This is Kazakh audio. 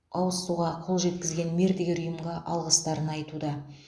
ауыз суға қолжеткізген мердігер ұйымға алғыстарын айтуда